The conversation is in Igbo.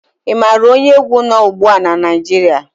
Ị maara onye egwu nọ́ ugbu a na Naịjirịa?